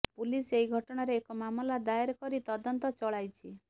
police ଏହି ଘଟଣାରେ ଏକ ମାମଲା ଦାଏର କରି ତଦନ୍ତ ଚଳାଇଛି